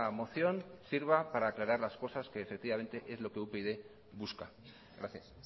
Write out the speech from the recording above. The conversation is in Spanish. moción sirva para aclarar las cosas que es lo que upyd busca gracias